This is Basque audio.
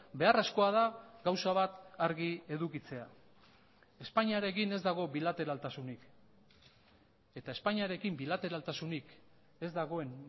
beharrezkoa da gauza bat argi edukitzea espainiarekin ez dago bilateraltasunik eta espainiarekin bilateraltasunik ez dagoen